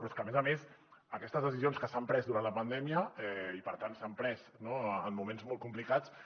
però és que a més a més aquestes decisions que s’han pres durant la pandèmia i per tant s’han pres en moments molt complicats